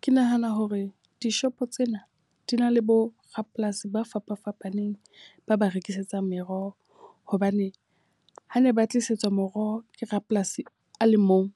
Ke nahana hore dishopo tsena di na le bo rapolasi ba fapafapaneng ba ba rekisetsang meroho. Hobane ha ne ba ho tlisetswa moroho ke rapolasi a le mong.